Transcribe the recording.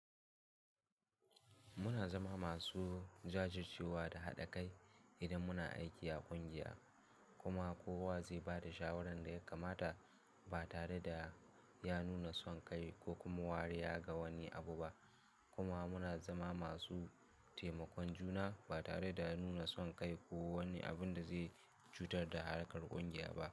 Muna zama masu jajircewa da haɗa kai idan muna aiki a ƙungiya, kuma kowa zai ba da shawaran da ya kamata ba tare da ya nuna son kai ko kuma wariya ga wani abu ba, kuma muna zama masu taimakon juna ba tare da nuna son kai ko wani abun da zai cutar da harkar ƙungiya ba.